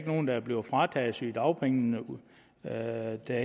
nogen der bliver frataget sygedagpenge uden at der